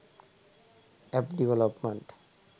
app development